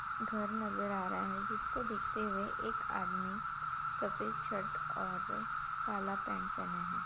घर नजर आ रहा है जिसको देखते हुए एक आदमी सफेद शर्ट और काला पैन्ट पहना है।